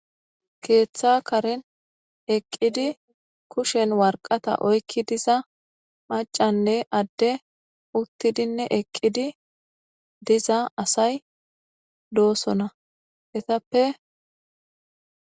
keeththa karen eqqidi kushen warqata oykki diza macanne adde uttidinne eqqidi diza asay doosona etappe